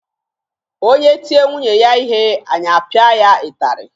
Onye tie nwunye ya ihe anyị apịa ya ịtarị